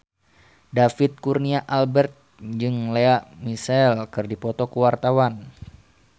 David Kurnia Albert jeung Lea Michele keur dipoto ku wartawan